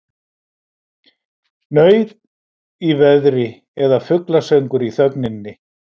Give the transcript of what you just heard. Nauð í veðri eða fuglasöngur í þögninni.